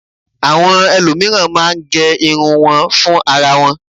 Àwọn ẹlòmíràn máa ń gẹ irun wọn fún ara wọn